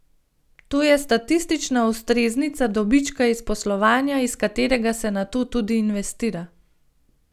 To je statistična ustreznica dobička iz poslovanja, iz katerega se nato tudi investira.